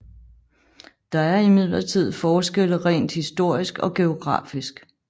Der er imidlertid forskelle rent historisk og geografisk